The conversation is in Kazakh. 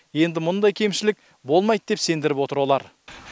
енді мұндай кемшілік болмайды деп сендіріп отыр олар